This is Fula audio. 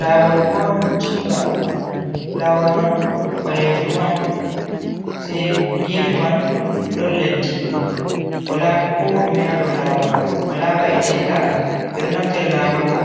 Lawol portinga, lawol man ɓalejum on se gefe man ɗon leddi wala ko ɗume hadow lawol man wala ba’etenga, ɓe ɗo naftira lawol bo